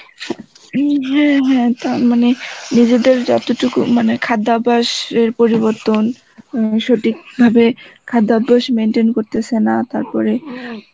হম হ্যাঁ হ্যাঁ তা মানে, নিজেদের যত টুকু মানে খাদ্যাভ্যাস এর পরিবর্তন সঠিক ভাবে খাদ্যাভ্যাস maintain করতেসে না তারপরে